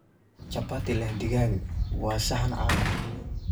Chapati leh digaag waa saxan caan ah.